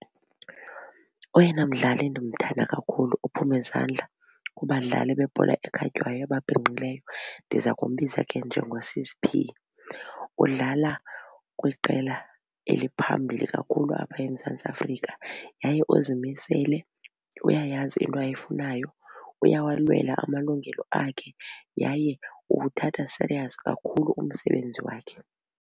Oyena mdlali ndimthanda kakhulu ophume izandla kubadlali bebhola ekhatywayo ababhinqileyo ndiza kumbiza ke njengoSis P. Udlala kwiqela eliphambili kakhulu apha eMzantsi Afrika yaye uzimisele uyayazi into ayifunayo uyawalwela amalungelo akhe yaye uwuthatha serious kakhulu umsebenzi wakhe.